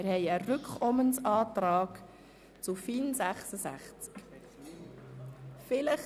Es wurde ein Rückkommensantrag zum Traktandum 66 eingereicht.